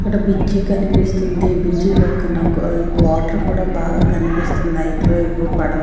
ఇక్కడ బ్రిడ్జి కనిపిస్తుంది బ్రిడ్జి పక్కన వాటర్ కూడా బాగా కనిపిస్తుంది ఇటువైపు పడ--